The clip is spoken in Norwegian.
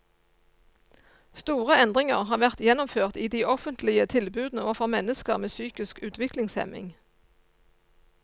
Store endringer har vært gjennomført i de offentlige tilbudene overfor mennesker med psykisk utviklingshemming.